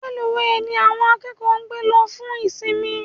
Reluwe ní àwọn akẹ́kọ̀ọ́ gbé lọ fún ìsimi